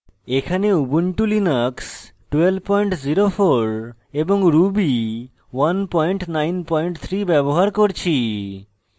এখানে ubuntu linux 1204 এবং ruby 193 ব্যবহার করছি